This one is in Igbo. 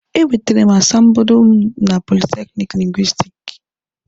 E nwetere m asambodo m na dipatmenti Lingwisitiki.